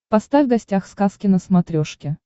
поставь гостях сказки на смотрешке